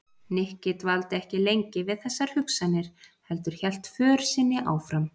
Nikki dvaldi ekki lengi við þessar hugsanir heldur hélt för sinni áfram.